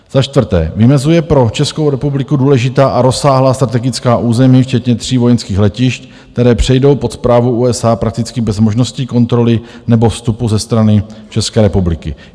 Za čtvrté, vymezuje pro Českou republiku důležitá a rozsáhlá strategická území, včetně tří vojenských letišť, která přejdou pod správu USA prakticky bez možnosti kontroly nebo vstupu ze strany České republiky.